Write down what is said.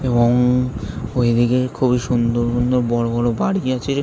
এ-ব-বং ঐদিকে খুবই সুন্দর সুন্দর বড়ো বড়ো বাড়ি আছে-এ।